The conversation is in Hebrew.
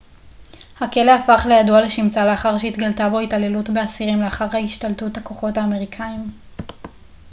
הכלא הפך לידוע לשמצה לאחר שהתגלתה בו התעללות באסירים לאחר השתלטות הכוחות האמריקאיים